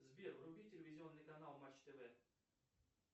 сбер вруби телевизионный канал матч тв